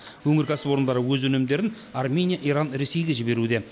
өңір кәсіпорындары өз өнімдерін армения иран ресейге жіберуде